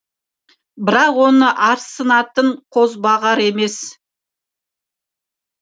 бірақ оны арсынатын қозбағар емес